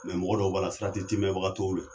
Mɛ mɔgɔ dɔw b'a la sarati timɛbaga t'o la.